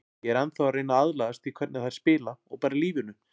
Ég er ennþá að reyna að aðlagast því hvernig þær spila og bara lífinu.